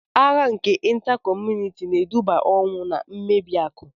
Agha nke Ịnta kọmunịti na-eduba n'ọnwụ na mmebi akụ